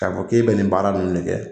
Ka fɔ k'e bɛ nin baara nunnu de kɛ